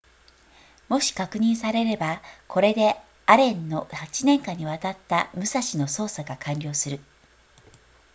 もし確認されればこれでアレンの8年間にわたった武蔵の捜索が完了する